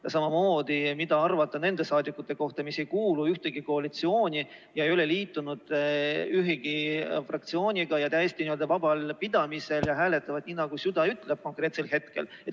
Ja samamoodi, mida arvata nendest rahvasaadikutest, kes ei kuulu ühtegi koalitsiooni ega ole liitunud ühegi fraktsiooniga, on täiesti n-ö vabal pidamisel ja hääletavad nii, nagu süda konkreetsel hetkel käsib?